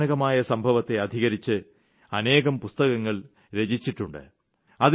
ആ ഭയാനകമായ സംഭവത്തെ അധികരിച്ച് അനേകം പുസ്തകങ്ങൾ രചിച്ചിട്ടുണ്ട്